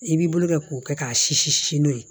I b'i bolo kɛ k'o kɛ k'a sisi si n'o ye